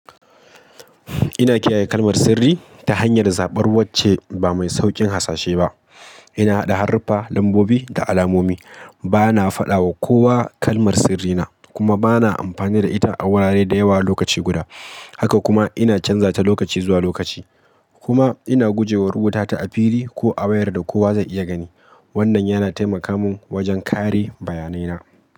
Ina kiyaye kalmar sirri ta hanyar zaɓar wacce ba mai sauƙin hasashe ba. Ina haɗa haruffa, lambobi da alamomi. Bana faɗa wa kowa kalmar sirrina kuma bana amfani da ita a wurare da yawa lokaci guda. Haka kuma ina canza ta lokaci zuwa lokaci. Kuma ina guje wa rubuta ta a fili ko a wayar da kowa zai iya gani. Wannan yana taimaka mun wajen kare bayanai na.